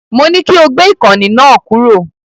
Mo ní kí o gbé ìkànnì náà kúrò.